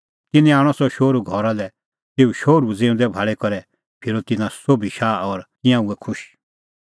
तिन्नैं आणअ सह शोहरू घरा लै तेऊ शोहरू ज़िऊंदै भाल़ी करै फिरअ तिन्नां सोभी शाह और तिंयां हुऐ खुश